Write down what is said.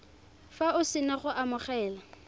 fa o sena go amogela